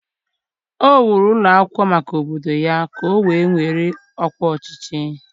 o wuru ụlọ akwụkwọ maka obodo ya ka o wee were ọkwa ọchịchị.